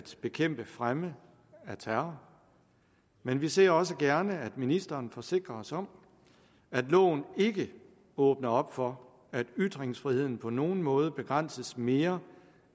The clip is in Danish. bekæmpe fremme af terror men vi ser også gerne at ministeren forsikrer os om at loven ikke åbner op for at ytringsfriheden på nogen måde begrænses mere